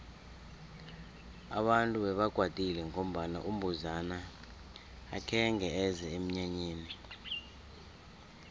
abantu bebakwatile ngombana umbuzana akhenge eze emnyanyeni